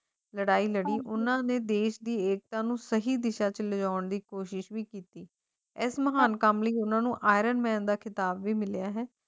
ਲੜਾਈ ਲੜੀ ਉਨ੍ਹਾਂ ਨੇ ਦੇਸ਼ ਦੀ ਏਕਤਾ ਨੂੰ ਸਹੀ ਦਿਸ਼ਾ ਸਮਝਾਉਣ ਦੀ ਕੋਸ਼ਿਸ਼ ਕੀਤੀ ਇਸ ਮਹਾਨ ਕੰਮ ਲਈ ਉਨ੍ਹਾਂ ਨੂੰ ਆਇਰਨ ਮੈਨ ਦਾ ਖਿਤਾਬ ਵੀ ਮਿਲਿਆ ਹੈ